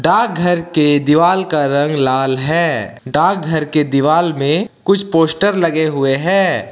डाकघर के दीवाल का रंग लाल है डाकघर के दीवाल में कुछ पोस्टर लगे हुए हैं।